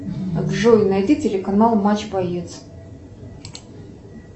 джой найди телеканал матч боец